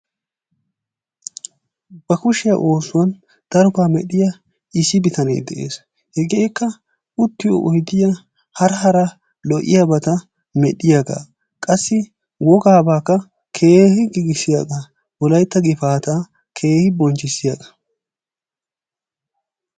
ba kushiya oosuwan daroba medhiya issi bitanee des, hegeekka uttiyo oyddiya hara hara lo'iyaabata medhiyaagaa. qassi i wogaabaakka keehi giigissiyaagaa. wolaytta gifaataa keehi bonchchissiyagaa.